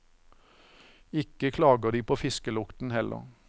Ikke klager de på fiskelukten, heller.